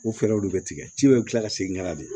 O fɛɛrɛw de bɛ tigɛ ji bɛ kila ka segin ka na de